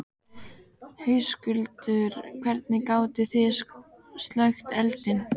Höskuldur: Hvernig gátið þið slökkt eldinn?